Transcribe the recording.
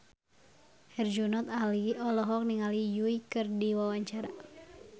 Herjunot Ali olohok ningali Yui keur diwawancara